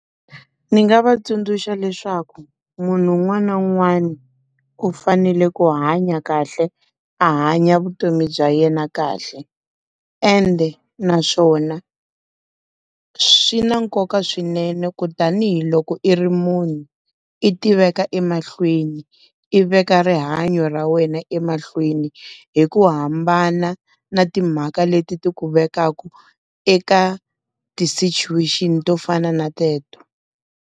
Ndzi nga va tsundzuxa leswaku munhu un'wana na un'wana, u fanele ku hanya kahle a hanya vutomi bya yena kahle. Ende naswona, swi na nkoka swinene ku tanihiloko i ri muni, i tiveka emahlweni, i veka rihanyo ra wena emahlweni hi ku hambana na timhaka leti ti ku vekaku eka ti-situation to fana na teto